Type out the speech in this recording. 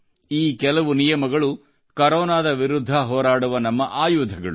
ಈ ಕೆಲವು ನಿಯಮಗಳು ಕೊರೊನಾದ ವಿರುದ್ಧ ಹೋರಾಡುವ ನಮ್ಮ ಆಯುಧಗಳು